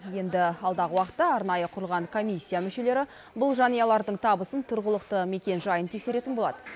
енді алдағы уақытта арнайы құрылған комиссия мүшелері бұл жанұялардың табысын тұрғылықты мекенжайын тексеретін болады